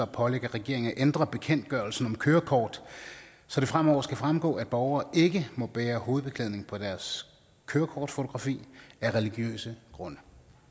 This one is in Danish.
pålægge regeringen at ændre bekendtgørelsen om kørekort så det fremover skal fremgå at borgere ikke må bære hovedbeklædning på deres kørekortfotografi af religiøse grunde